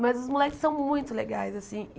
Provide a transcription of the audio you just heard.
Mas os moleques são muito legais, assim.